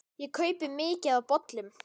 Ég kaupi mikið af bolum.